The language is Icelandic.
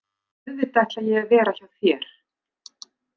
Auðvitað ætla ég að vera hjá þér!